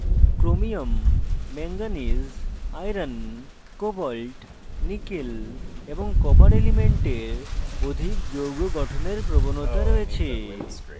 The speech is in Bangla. chromium cr manganese mn iron fe cobalt co nickel ni এবং copper cu elements অধিক যৌগ গঠনের প্রবণতা রয়েছে